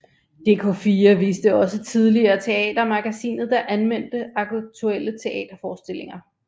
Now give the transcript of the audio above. Dk4 viste også tidligere Teatermagasinet der anmeldte aktuelle teaterforestillinger